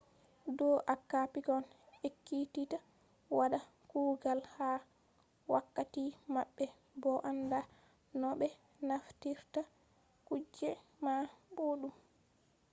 do acca pikkon ekkititta wada kugal ha wakatti mabbe bo anda no be naftirta kuje man boddum